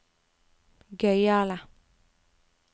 gøyale